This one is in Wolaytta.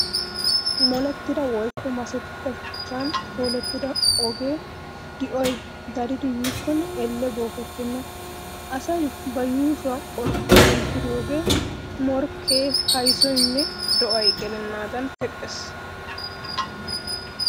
Molettida woykko masettida shuchchan koolettida ogee di'oy daridi yiikkonne Elle bookettenna. Asay ba yuushuwaa qorqqoruwaan diriyoogee morkkee, kayssoynne do'ay gelennaadaan teqqees.